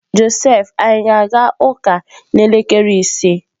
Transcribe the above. Josef ka anyị ga-aga ụka n'elekere ise?